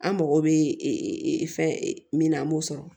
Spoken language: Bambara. An mago bɛ fɛn min na an b'o sɔrɔ